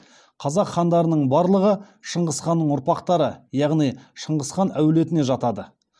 қазақ хандарының барлығы шыңғыс ханның ұрпақтары яғни шыңғыс хан әулетіне жатады